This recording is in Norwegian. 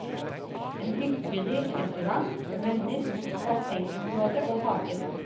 En hyggelig restaurant vender mot bassengområdet og hagen.